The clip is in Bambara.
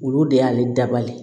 Olu de y'ale dabali